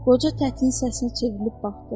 Qoca tətiyin səsinə çevrilib baxdı.